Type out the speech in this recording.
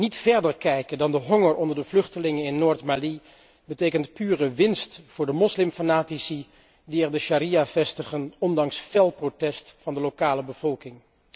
Niet verder kijken dan de honger onder de vluchtelingen in Noord Mali betekent pure winst voor de moslimfanatici die er de sharia vestigen ondanks fel protest van de lokale bevolking.